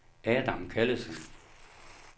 Adam Callesen